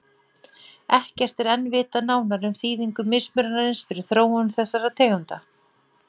Ekkert er enn vitað nánar um þýðingu mismunarins fyrir þróun þessara tegunda.